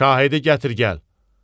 Şahidi gətir gəl.